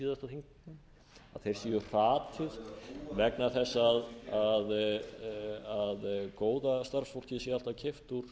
háttvirtri síðasta þing mann að þeir séu hratið vegna þess að góða starfsfólkið sé alltaf keypt úr